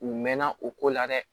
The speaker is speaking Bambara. U mɛnna o ko la dɛ